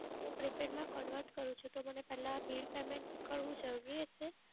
હું prepaid માં convert કરુંછું તો મને પેલ્લાં bill payment કરવું જરૂરી હશે?